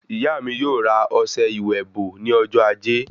Ìyá mí yóò ra ọsẹ ìwẹ̀ bò ní ọjọ ajé